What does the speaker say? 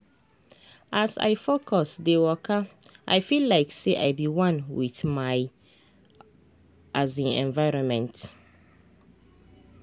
as i focus dey wakai feel like say i be one with my um environment. um